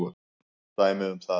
Dæmi um það